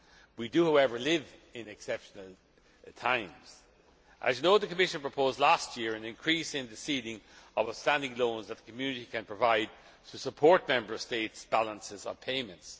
We do, however, live in exceptional times. As you know, the Commission proposed last year an increase in the ceiling of outstanding loans that the Community can provide to support Member States' balances of payments.